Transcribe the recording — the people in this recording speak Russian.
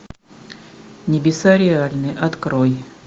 небеса реальны открой